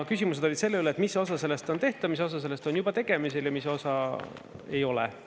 Küsimused olid selle üle, et mis osa sellest on tehtav, mis osa sellest on juba tegemisel ja mis osa ei ole.